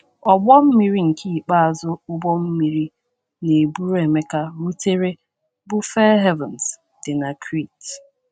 Ọgbọ mmiri nke ikpeazụ ụgbọ mmiri na - eburu Emeka rutere bụ Fair Havens, dị na Crete.